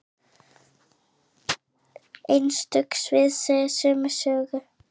Einstök svið segja sömu sögu.